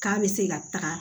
K'a bɛ se ka taga